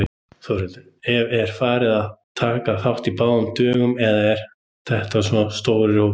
Þórhildur: Er fólk að taka þátt í báðum dögunum eða eru þetta svona tveir hópar?